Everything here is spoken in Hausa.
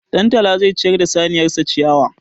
Ɗantala zai ciyar da saniyar sa ciyawa.